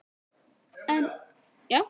Enn standa þar allmörg hús segir Landið þitt.